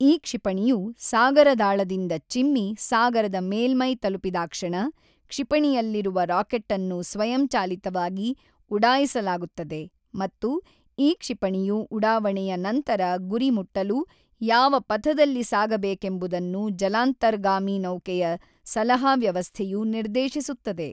ಈ ಕ್ಷಿಪಣಿಯು ಸಾಗರದಾಳದಿಂದ ಚಿಮ್ಮಿ ಸಾಗರದ ಮೇಲ್ಮೈ ತಲುಪಿದಾಕ್ಷಣ ಕ್ಷಿಪಣಿಯಲ್ಲಿರುವ ರಾಕೆಟ್ಟನ್ನು ಸ್ವಯಂಚಾಲಿತವಾಗಿ ಉಢಾಯಿಸಲಾಗುತ್ತದೆ ಮತ್ತು ಈ ಕ್ಷಿಪಣಿಯು ಉಢಾವಣೆಯ ನಂತರ ಗುರಿ ಮುಟ್ಟಲು ಯಾವ ಪಥದಲ್ಲಿ ಸಾಗಬೇಕೆಂಬುದನ್ನು ಜಲಾಂತರ್ಗಾಮಿ ನೌಕೆಯ ಸಲಹಾ ವ್ಯವಸ್ಥೆಯು ನಿರ್ದೇಶಿಸುತ್ತದೆ.